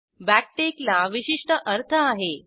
backtick ला विशिष्ट अर्थ आहे